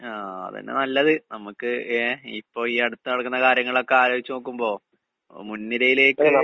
ആഹ് അതന്നെ നല്ലത്. നമ്മക്ക് ഏഹ് ഇപ്പൊ ഈ അടുത്ത് നടക്കുന്ന കാര്യങ്ങളൊക്കെ ആലോചിച്ച് നോക്കുമ്പോ അഹ് മുൻനിരയിലേക്ക്